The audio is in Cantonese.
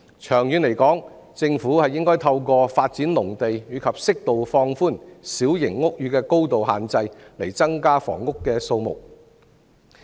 長遠而言，政府應該透過發展農地及適度放寬小型屋宇的高度限制，以增加房屋的數目。